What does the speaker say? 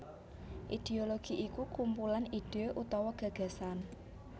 Idéologi iku kumpulan ide utawa gagasan